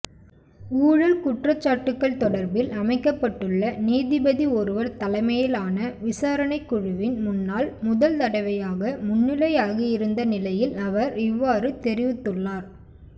ஊழல் குற்றச்சாட்டுக்கள் தொடர்பில் அமைக்கப்பட்டுள்ள நீதிபதி ஒருவர் தலைமையிலான விசாரணைக்குழுவின் முன்னால் முதல்தடவையாக முன்னிலையாகியிருந்த நிலையில் அவர் இவ்வாறு தெரிவித்துள்ளார்